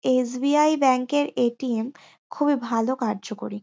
S. B. I. Bank -এর A T. M. খুবই ভাল কার্যকরী।